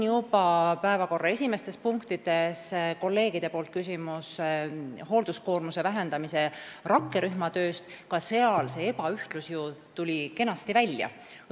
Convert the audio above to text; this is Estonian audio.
Päevakorra ühes esimestest punktidest oli kolleegidel küsimus hoolduskoormuse vähendamise rakkerühma töö kohta – ka seal tuli ju see ebaühtlus kenasti välja.